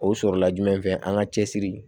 O sɔrɔla jumɛn fɛ an ka cɛsiri